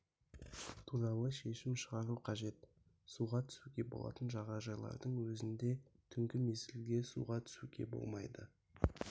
туралы шешім шығару қажет суға түсуге болатын жағажайлардың өзінде де түнгі мезгілде суға түсуге болмайды